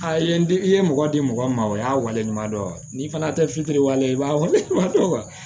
A ye n di i ye mɔgɔ di mɔgɔ ma o y'a waleɲuman dɔn wa n'i fana tɛ fitiri wale i b'a wale